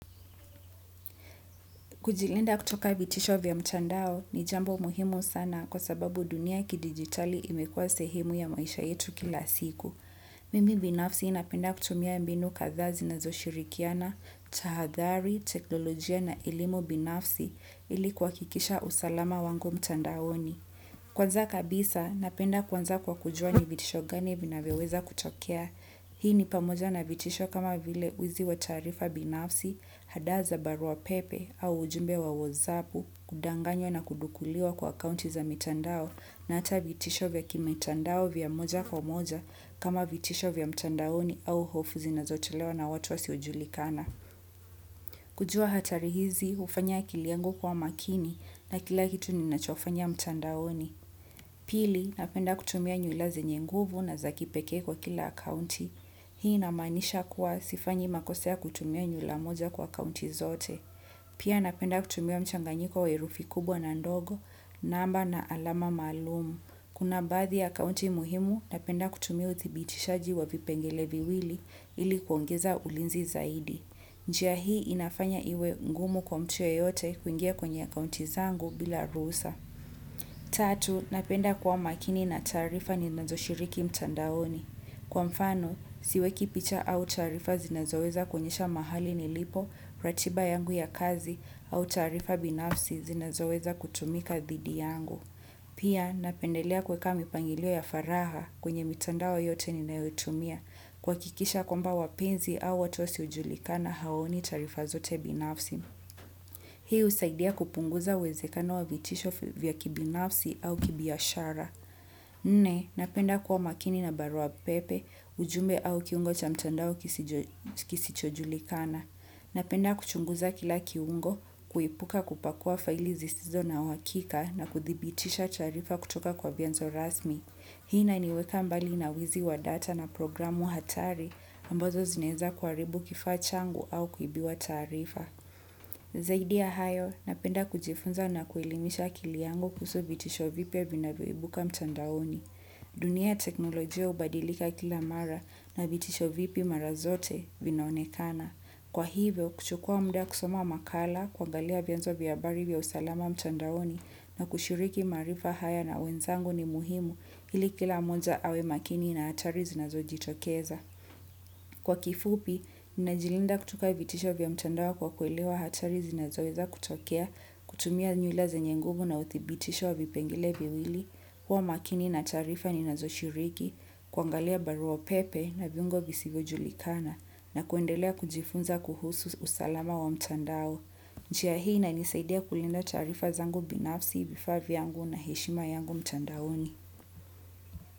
Kujilinda kutoka vitisho vya mchandao ni jambo muhimu sana kwa sababu dunia ya kidigitali imekuwa sehemu ya maisha yetu kila siku. Mimi binafsi napenda kutumia mbinu kathaa zi na zo shirikiana, tahadhari, teknolojia na elimu binafsi ilikuha kikisha usalama wangu mtandaoni. Kwanza kabisa, napenda kuanza kwa kujua ni vitisho gani vinavyoweza kutokea. Hii ni pamoja na vitisho kama vile wizi wa taarifa binafsi, hadaa za barua pepe au ujumbe wa wozapu kudanganywa na kudukuliwa kwa kaunti za mitandao na hata vitisho vya kimitandao vya moja kwa moja kama vitisho vya mtandaoni au hofu zi na zotolewa na watu wa siojulikana. Kujua hatari hizi ufanya akiliangu kuwa makini na kila kitu ninachofanya mtandaoni. Pili napenda kutumia nywira zenye nguvu na za kipekee kwa kila akaunti. Hii inamaanisha kuwa sifanyi makose ya kutumia nywilamoja kwa akaunti zote. Pia napenda kutumia mchanganyi ko wa herufi kubwa na ndogo namba na alama maalum. Kuna baathi ya akaunti muhimu, napenda kutumia utibitishaji wa vipengeleviwili ili kuongeza ulinzi zaidi. Njia hii inafanya iwe ngumu kwa mtu yeyote kuingia kwenye akaunti zangu bila ruhusa. Tatu, napenda kuwa makini na taarifa ni nazo shiriki mtandaoni. Kwa mfano, siwe kipicha au taarifa zinazoweza kuonyesha mahali ni lipo, ratiba yangu ya kazi au taarifa binafsi zinazoweza kutumika thidi yangu. Pia, napendelea kuweka mipangilio ya faraha kwenye mitandao yote ni nayoi tumia kuha kikisha kwa mba wapenzi au watu wasio julikana hawaoni taarifa zote binafsi. Hii usaidia kupunguza uwezekano wa vitisho vya kibinafsi au kibiashara. Nne, napenda kuwa makini na barua pepe, ujumbe au kiungo cha mtandao kisichojulikana. Napenda kuchunguza kila kiungo, kuipuka kupakua faili zisizo na huhakika na kuthibitisha taarifa kutoka kwa vianzo rasmi. Hii ina niweka mbali nawizi wa data na programu hatari ambazo zinaeza kuharibu kifaa changu au kuibiwa taarifa. Zaidi ya hayo, napenda kujifunza na kuelimisha akiliyangu kuhusu vitisho vipia vinavyoibuka mtandaoni. Dunia ya teknolojia ubadilika kila mara na vitisho vipi mara zote vinaonekana. Kwa hivyo, kuchukua mda kusoma makala, kuangalia vyenzo vya habari vya usalama mtandaoni na kushiriki maarifa haya na wenzangu ni muhimu ili kila moja awe makini na hatari zinazo jitokeza. Kwa kifupi, ninajilinda kutoka vitisho vya mtandao kwa kuelewa hatari zinazoweza kutokea, kutumia nywilaze nyenguvu na uthibitisho wa vipengele viwili, huwa makini na taarifa ninazoshiriki, kuangalia barua pepe na viungo visivyo julikana na kuendelea kujifunza kuhusu usalama wa mtandao. Njia hii inanisaidia kulinda taarifa zangu binafsi, vifaa vyangu na heshima yangu mtandaoni.